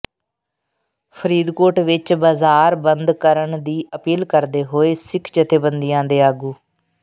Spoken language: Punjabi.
ਫ਼ਰੀਦਕੋਟ ਵਿੱਚ ਬਾਜ਼ਾਰ ਬੰਦ ਕਰਨ ਦੀ ਅਪੀਲ ਕਰਦੇ ਹੋਏ ਸਿੱਖ ਜਥੇਬੰਦੀਆਂ ਦੇ ਆਗੂ